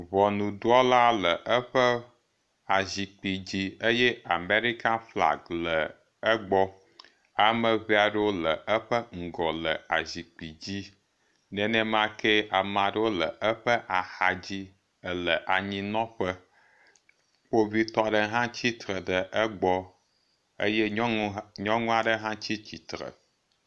Ŋɔnudrɔla le eƒe azikpui dzi eye Amerika flagi le egbɔ. Ame ŋee aɖewo le eƒe ŋgɔ le azikpi dzi. Nenemake ama ɖewo le eƒe axadzi ele anyinɔƒe. Kpovitɔ aɖe hã tsitre ɖe egbɔ eye nyɔnu aɖe hã tsi tsitre